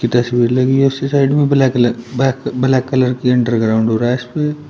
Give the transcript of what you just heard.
तस्वीर लगी है उसी साइड में ब्लैक कलर ब्लैक कलर की अंडरग्राउंड हो रहा है इसपे।